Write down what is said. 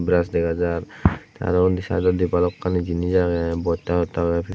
brush dega jar aro undi sydodi bhalokkani jinich agey bosta ottta agey.